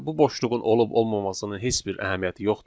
Bu boşluğun olub-olmamasıının heç bir əhəmiyyəti yoxdur.